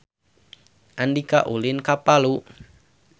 Andika ulin ka Palu